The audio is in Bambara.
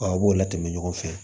u b'o latɛmɛ ɲɔgɔn fɛ